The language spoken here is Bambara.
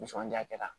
Nisɔndiya kɛra